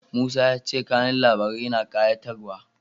Musa ya ce kanun labarin yana ƙayatarwa.